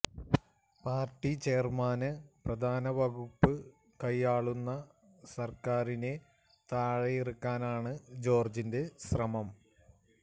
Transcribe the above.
party chairman പ്രധാന വകുപ്പ് കൈയാളുന്ന സര്ക്കാരിനെ താഴെയിറക്കാനാണ് ജോര്ജിന്റെ ശ്രമം